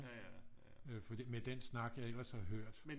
Øh for det med den snak jeg ellers har hørt